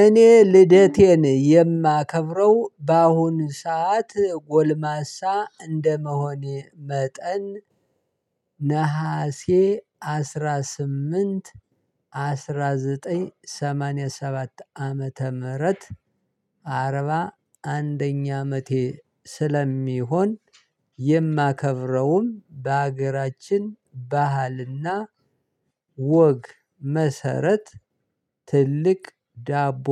እኔ ልደቴን የማከብረው በአሁኑ ሰዓት ጎልማሳ እንደመሆኔ መጠን ነሀሴ አስራ ስምንት አስራ ዘጠኝ ሰማንያ ሰባት ዓመተ ምህረት አርባ አንደኛ አመቴ ስለሚሆን የማከብረውም በሀገራችን ባህልና ወግ መሰረት ትልቅ ዳቦ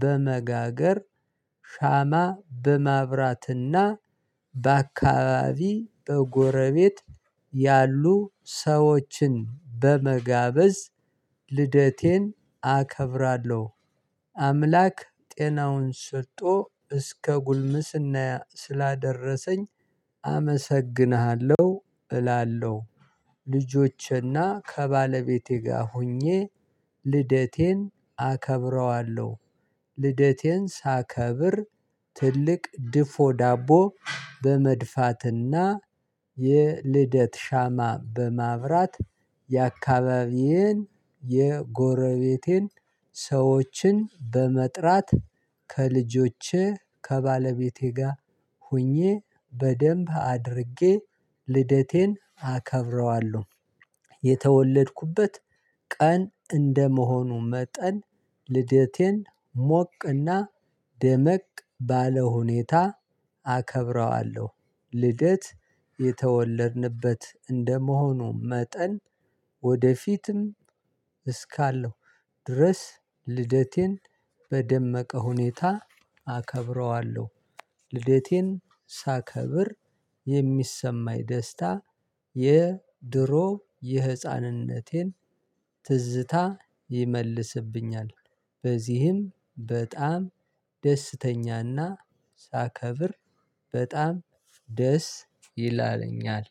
በመጋገር ሻማ በማብራትና በአካባቢ በጎረቤት ያሉ ሰዎችን በመጋበዝ ልደቴን አከብራለሁ አምላክ ጤናውን ሰጥቶ እስከ ጉልምስና ስላደረሰኝ አመሰግንሃለሁ እላለሁ። ልጆቼና ከባለቤቴ ጋር ሆኜ ልደቴን አከብረዋለሁ። ልደቴን ሳከብር ትልቅ ድፎ ዳቦ በመድፋትና የልደት ሻማ በማብራት የአካባቢዬን የጎረቤቴን ሰዎችን በመጥራት ከልጆቼ ከባለቤቴ ጋር ሆኜ በደንብ አድርጌ ልደቴን አከብረዋለሁ። የተወለድኩበት ቀን እንደመሆኑ መጠን ልደቴን ሞቅና ደመቅ ባለ ሁኔታ አከብረዋለሁ። ልደት የተወለድንበት እንደመሆኑ መጠን ወደፊትም እስካለው ድረስ ልደቴን በደመቀ ሁኔታ አከብረዋለሁ። ልደቴን ሳከብር የሚሰማኝ ደስታ የድሮ የህፃንነቴን ትዝታ ይመልስብኛል። በዚህም በጣም ደስተኛና ሳከብር በጣም ደስ ይለኛል